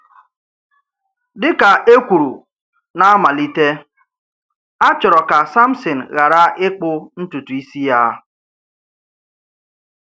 Dị̀ ka e kwùrù n’ámàlítè, a chọrọ̀ ka Sámṣìn ghàrà ịkpụ̀ ntùtù̀ ísì ya.